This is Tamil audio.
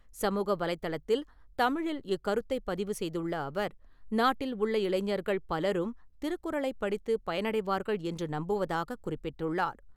சமூக வலைத்தளத்தில் தமிழில் இக்கருத்தை பதிவு செய்துள்ள அவர், நாட்டில் உள்ள இளைஞர்கள் பலரும் திருக்குறளை படித்து பயனடைவார்கள் என்று நம்புவதாகக் குறிப்பிட்டுள்ளார்.